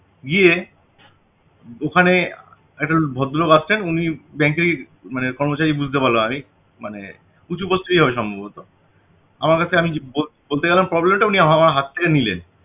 গিয়ে ওখানে একটা ভদ্রলোক আসছেন উনি bank এর মানে কর্মচারি বুঝতে পারলাম আমি মানে উঁচু post এরই হবে সম্ভবত আমার কাছে আমি বল~বল~ বলতে গেলাম problem টা উনি আমার~আমার হাত থেকে নিলেন